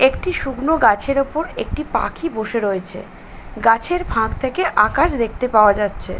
একটি শুকনো গাছের ওপর একটি পাখি বসে রয়েছে গাছের ফাঁক থেকে আকাশ দেখতে পাওয়া যাচ্ছে।